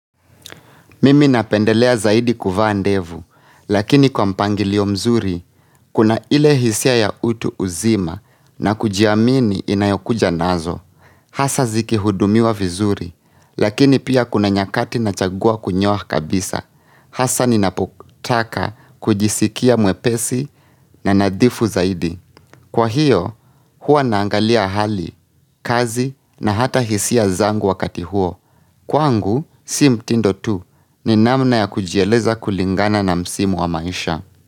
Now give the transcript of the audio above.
Mimi napendelea zaidi kuvaandevu, lakini kwa mpangilio mzuri, kuna ile hisia ya utu uzima na kujiamini inayokuja nazo. Hasa ziki hudumiwa vizuri, lakini pia kuna nyakati na chagua kunyoa kabisa. Hasa ninapotaka kujisikia mwepesi na nadhifu zaidi. Kwa hiyo, hua naangalia hali, kazi na hata hisia zangu wakati huo. Kwa ngu, sim tindo tu, ni namna ya kujieleza kulingana na msimu wa maisha.